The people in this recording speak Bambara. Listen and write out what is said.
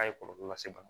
A ye kɔlɔlɔ lase bana ma